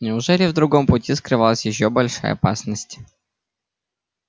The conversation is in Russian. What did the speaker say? неужели в другом пути скрывалась ещё большая опасность